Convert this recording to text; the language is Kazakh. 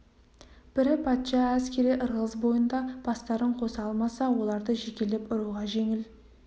бірі патша әскері ырғыз бойында бастарын қоса алмаса оларды жекелеп ұруға жеңіл